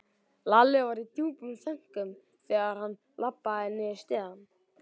Lalli var í djúpum þönkum þegar hann labbaði niður stigann.